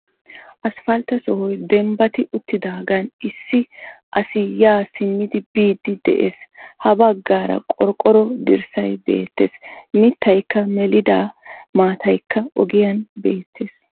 Asppaltte sohoy dembbati uttidaagan issi asi yaa simmidi biidi de'ees, ha baggaara qorqqoro dirssay beettees, mittaykka melida maattaykka ogiyan beettees,